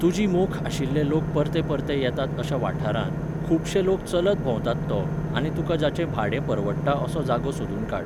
तुजी मोख आशिल्ले लोक परते परते येतात अशा वाठारांत, खूबशे लोक चलत भोंवतात तो, आनी तुका जाचें भाडें परवडत असो जागो सोदून काड.